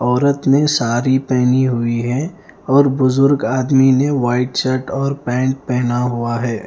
औरत ने सारी पहनी हुई है और बुजुर्ग आदमी ने व्हाइट शर्ट और पैन्ट पहना हुआ है।